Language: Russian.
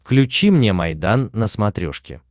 включи мне майдан на смотрешке